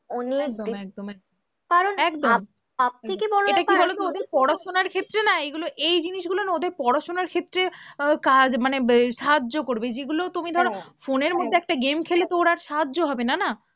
অনেকদিন, একদম একদম কারণ সবথেকে বড়ো ব্যাপার কি বলতো ওদের পড়াশোনার ক্ষেত্রে না এইগুলো এই জিনিসগুলো না ওদের পড়াশোনার ক্ষেত্রে আহ কাজ মানে সাহায্য করবে যেগুলো তুমি ধরো, ফোনের মধ্যে game খেলে তো ওর আর সাহায্য হবে না না।